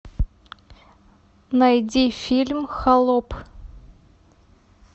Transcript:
найди фильм холоп